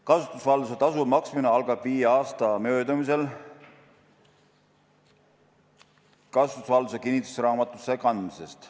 Kasutusvalduse tasu maksmine algab viie aasta möödumisel kasutusvalduse kinnistusraamatusse kandmisest.